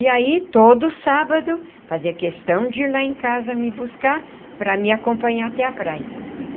E aí, todo sábado, fazia questão de ir lá em casa me buscar... para me acompanhar até a praia.